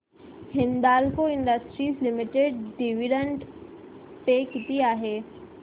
Hindalco industries limited dividend pay किती आहे